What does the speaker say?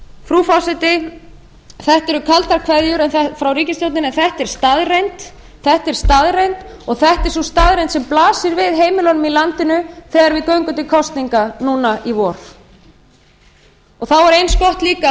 frú forseti þetta eru kaldar kveðjur frá ríkisstjórninni en þetta er staðreynd og þetta er sú staðreynd sem blasir við heimilunum í landinu þegar við göngum til kosninga núna í vor þá er eins gott líka að